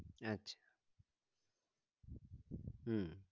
আচ্ছা উম